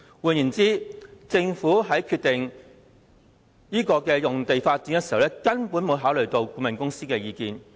換言之，政府在決定這項用地發展項目時，根本沒有考慮顧問公司的意見。